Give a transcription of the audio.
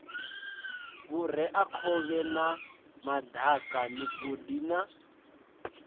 vhureakhovhe na madaka migodi na